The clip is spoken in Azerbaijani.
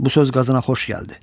Bu söz Qazana xoş gəldi.